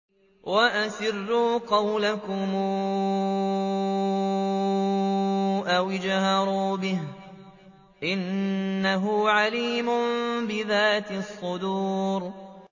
وَأَسِرُّوا قَوْلَكُمْ أَوِ اجْهَرُوا بِهِ ۖ إِنَّهُ عَلِيمٌ بِذَاتِ الصُّدُورِ